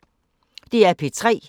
DR P3